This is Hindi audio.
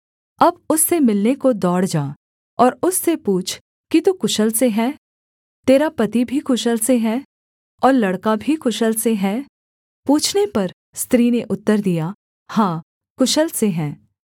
अब उससे मिलने को दौड़ जा और उससे पूछ कि तू कुशल से है तेरा पति भी कुशल से है और लड़का भी कुशल से है पूछने पर स्त्री ने उत्तर दिया हाँ कुशल से हैं